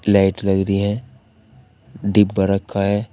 Light लग रही है डिब्बा रखा है।